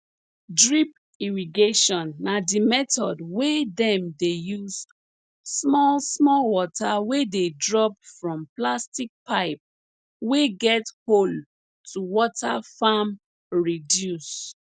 drip irrigation na di method wey dem dey use small small water wey dey drop from plastic pipe wey get hole to water farm reduce